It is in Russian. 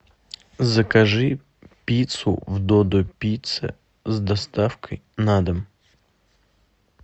закажи пиццу в додо пицца с доставкой на дом